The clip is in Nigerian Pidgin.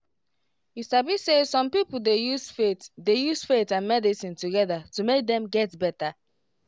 you sabi say some people dey use faith dey use faith and medicine together to make dem get better